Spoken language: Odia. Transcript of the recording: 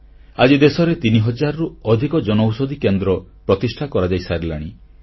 ଆଜି ଦେଶରେ ତିନି ହଜାରରୁ ଅଧିକ ଜନଔଷଧି କେନ୍ଦ୍ର ପ୍ରତିଷ୍ଠା କରାଯାଇସାରିଲାଣି